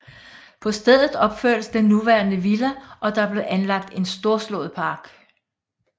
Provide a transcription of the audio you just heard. På stedet opførtes den nuværende villa og der blev anlagdet en storslået park